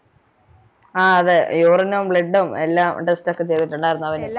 ആ അതെ urine ഉം blood ഉം ഒക്കെ test ഒക്കെ ചെയ്തിട്ടുണ്ടായിരുന്നു അവന്